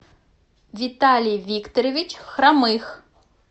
виталий викторович хромых